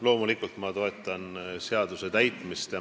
Loomulikult ma toetan seaduse täitmist.